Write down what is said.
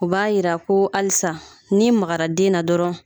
U b'a jira ko halisa n'i magara den na dɔrɔn